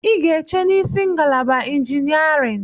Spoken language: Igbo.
I ga-eche n'isi ngalaba injiniarịn!